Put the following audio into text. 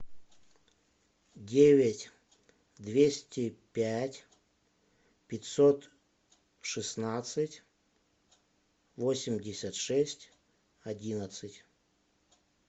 девять двести пять пятьсот шестнадцать восемьдесят шесть одиннадцать